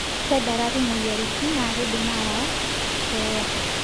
Kedarari moyiaritin naa keidim aayu keeya.